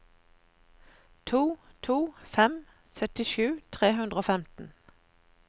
to to to fem syttisju tre hundre og femten